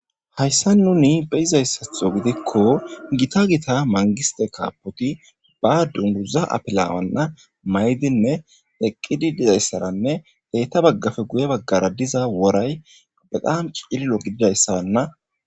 Hayssa nuni beyizayssatho gidikko gita gita mangiste kaapoti ba dunduza apilawanna maydinne eqqidi dizayssaranne deyta baggafe guye baggara diza woray baqan c'illo gididayssaranna.